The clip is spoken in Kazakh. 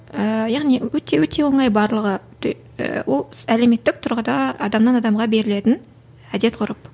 ыыы яғни өте өте оңай барлығы ол әлеуметтік тұрғыда адамнан адамға берілетін әдет ғұрып